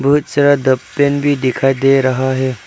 बहुत सारा डब पेन भी दिखाई दे रहा है।